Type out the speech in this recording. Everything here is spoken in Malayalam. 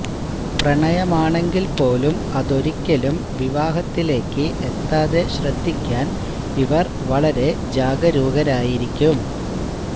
പ്രണയമാണെങ്കില് പോലും അതൊരിക്കലും വിവാഹത്തിലേക്ക് എത്താതെ ശ്രദ്ധിക്കാന് ഇവര് വളരെ ജാഗരൂകരായിരിക്കും